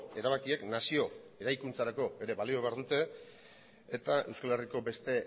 erabakiek nazio eraikuntzarako ere balio behar dute eta euskal herriko beste